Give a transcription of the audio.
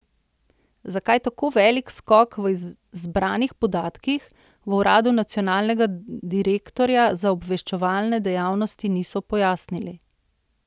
Zakaj tako velik skok v zbranih podatkih, v uradu Nacionalnega direktorja za obveščevalne dejavnosti niso pojasnili.